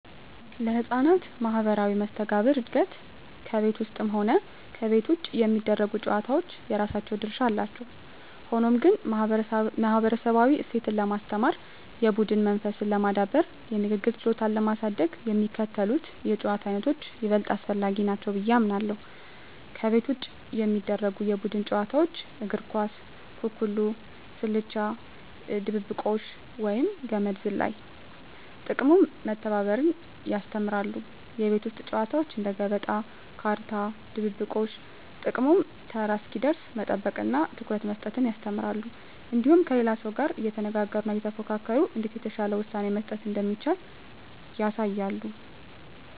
ለሕፃናት ማኅበራዊ መስተጋብር እድገት ከቤት ውስጥም ሆነ ከቤት ውጭ የሚደረጉ ጨዋታዎች የራሳቸው ድርሻ አላቸው። ሆኖም ግን፣ ማኅበረሰባዊ እሴትን ለማስተማር፣ የቡድን መንፈስን ለማዳበርና የንግግር ችሎታን ለማሳደግ የሚከተሉት የጨዋታ ዓይነቶች ይበልጥ አስፈላጊ ናቸው ብዬ አምናለሁ፦ ከቤት ውጭ የሚደረጉ የቡድን ጨዋታዎች እግር ኳስ፣ ኩኩሉ፣ ስልቻ ድብብቆሽ፣ ወይም ገመድ ዝላይ። ጥቅሙም መተባበርን ያስተምራሉ። የቤት ውስጥ ጨዋታዎች እንደ ገበጣ፣ ካርታ፣ ድብብቆሽ… ጥቅሙም ተራ እስኪደርስ መጠበቅንና ትኩረት መስጠትን ያስተምራሉ። እንዲሁም ከሌላው ሰው ጋር እየተነጋገሩና እየተፎካከሩ እንዴት የተሻለ ውሳኔ መስጠት እንደሚቻል ያሳያሉ።